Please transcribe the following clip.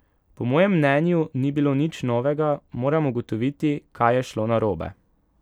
Po mojem mnenju ni bilo nič novega, moram ugotoviti, kaj je šlo narobe ...